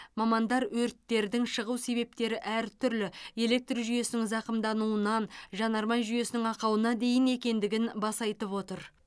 мамандар өрттердің шығу себептері әртүрлі электр жүйесінің зақымдануынан жанармай жүйесінің ақауына дейін екендігін баса айтып отыр